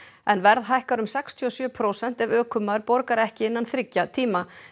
en verð hækkar um sextíu og sjö prósent ef ökumaður borgar ekki innan þriggja tíma